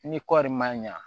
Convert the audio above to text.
Ni kɔɔri ma ɲa